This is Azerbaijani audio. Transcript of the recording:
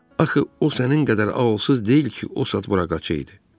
Axı o sənin qədər ağılsız deyil ki, o saat bura qaça idi.